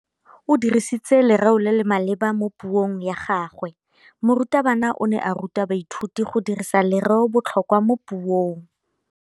O dirisitse lerêo le le maleba mo puông ya gagwe. Morutabana o ne a ruta baithuti go dirisa lêrêôbotlhôkwa mo puong.